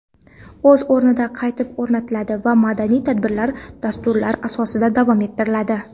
o‘z o‘rnida qaytib o‘rnatiladi va madaniy tadbirlar dastur asosida davom ettiriladi.